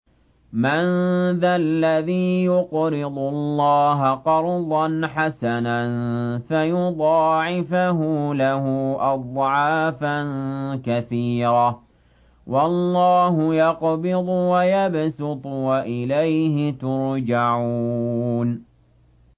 مَّن ذَا الَّذِي يُقْرِضُ اللَّهَ قَرْضًا حَسَنًا فَيُضَاعِفَهُ لَهُ أَضْعَافًا كَثِيرَةً ۚ وَاللَّهُ يَقْبِضُ وَيَبْسُطُ وَإِلَيْهِ تُرْجَعُونَ